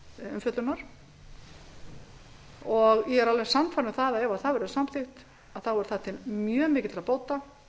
umfjöllunar og ég er alveg sannfærð um að ef það verður samþykkt verður það til mjög mikilla bóta